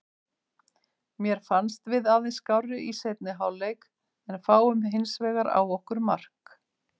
Mér fannst við aðeins skárri í seinni hálfleik en fáum hinsvegar á okkur mark.